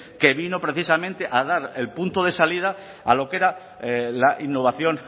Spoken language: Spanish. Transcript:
que vino precisamente a dar el punto de salida a lo que era la innovación